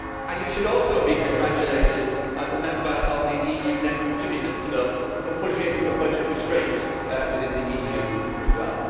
You should also be congratulated as a member of the EU net contributors club for pushing for budget restraint within the EU as well.